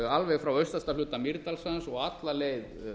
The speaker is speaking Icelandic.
alveg frá austasta hluta mýrdalssands og alla leið